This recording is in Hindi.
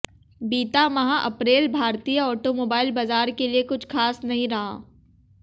बीता माह अप्रैल भारतीय ऑटोमोबाइल बाजार के लिए कुछ खास नहीं रहा